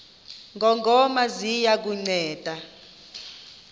ngongoma ziya kukunceda